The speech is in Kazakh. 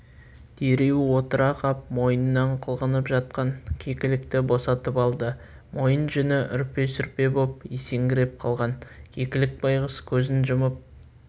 дереу отыра қап мойнынан қылғынып жатқан кекілікті босатып алды мойын жүні үрпе-сүрпе боп есеңгіреп қалған кекілік байғұс көзін жұмып